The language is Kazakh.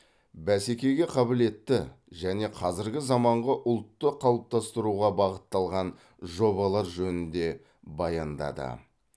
бәсекеге қабілетті және қазіргі заманғы ұлтты қалыптастыруға бағытталған жобалар жөнінде баяндады